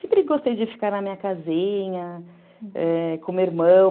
Sempre gostei de ficar na minha casinha, com o meu irmão.